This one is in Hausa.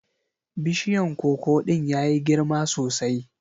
Bishiyan koko ɗin ya yi girma sosai.